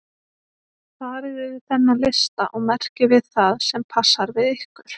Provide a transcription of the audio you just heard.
Farið yfir þennan lista og merkið við það sem passar við ykkur.